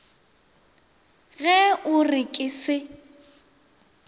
ge o re ke se